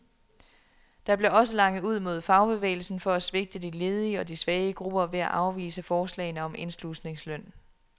Der blev også langet ud mod fagbevægelsen for at svigte de ledige og de svage grupper ved at afvise forslagene om indslusningsløn.